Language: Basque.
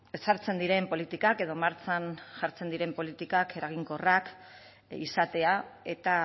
ezartzen diren politikak edo martxan jartzen diren politikak eraginkorrak izatea eta